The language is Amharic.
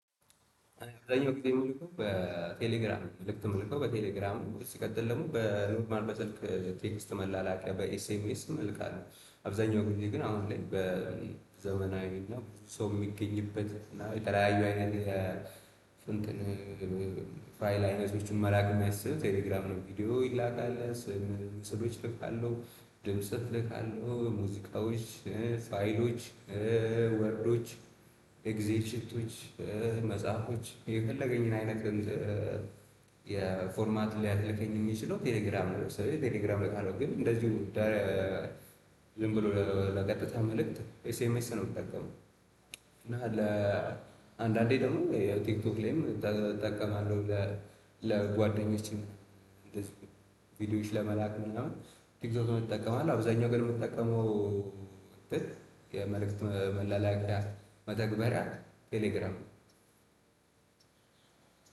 አብዛኛው ጊዜ ምልካው በቴሌግራም መልክት የምልካው በቴሌግራም ነው። ሲቀጥል ደግሞ በኖርማል በስልክ ቴክስት መላላኪያ በኤስኤምኤስም እልካለሁ። አብዛኛው ጊዜ ግን አሁን ላይ በዘመናዊና ሰው የሚገኝበት እና የተለያዩ አይነት እንትን ፋይል አይነቶችን መላክ የሚያስችል ቴሌግራም ነው፤ ቪዲዮ ይላካል፣ ስም ምስሎች እልካለሁ፣ ድምጽ እልካለሁ ሙዚቃዎች፣ ፋይሎች፣ ወርዶች፣ ኤግዚል ሽቶች መጽሐፎች የፈለገኝን አይነት ድምጽ የፎርማት ሊያስልከኝ የሚችለው ቴሌግራም ነው። ለምሳሌ ቴሌግራም እልካለሁ ግን እንደዚሁም ደ ዝም ብሎ ለቀጥታ መልእክት ኤስኤምኤስ ነው የምጠቀመው፤ እና ለአንዳንዴ ደግሞ የቲክቶክ ላይም እጠ እጠቀማለሁ ለ ለጓደኞችም እንደዚሁም ቪዲዮዎች ለመላክ ምናምን ቲክቶክም እጠቀማለሁ፣ አብዛኛው ገሩ የምጠቀመው እንቲን የመልእክት መላለኪያ መተግበሪያ ቴሌግራም ነው።